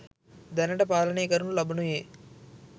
දැනට පාලනය කරනු ලබනුයේ